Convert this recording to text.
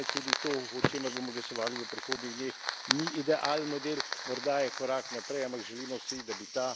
Dosedanje rešitve seveda niso idealne, tudi to, o čemer bomo glasovali v prihodnjih dneh, ni idealen model.